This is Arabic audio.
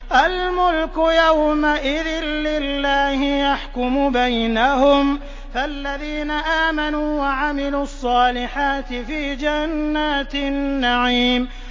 الْمُلْكُ يَوْمَئِذٍ لِّلَّهِ يَحْكُمُ بَيْنَهُمْ ۚ فَالَّذِينَ آمَنُوا وَعَمِلُوا الصَّالِحَاتِ فِي جَنَّاتِ النَّعِيمِ